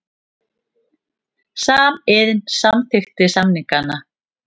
Samiðn samþykkti samningana